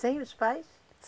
Sem os pais?